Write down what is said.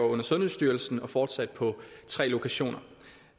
under sundhedsstyrelsen og fortsat på tre lokationer